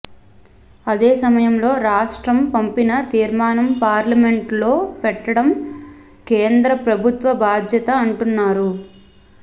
అదే సమయంలో రాష్ట్రం పంపిన తీర్మానం పార్లమెంటులో పెట్టడం కేంద్ర ప్రభుత్వ బాధ్యత అంటున్నారు